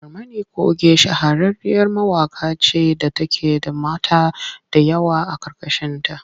Barmani coge shahararriyar mawaƙiya ce da take da mata da yawa a ƙarƙashinta.